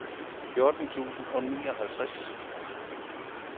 fjorten tusind og nioghalvtreds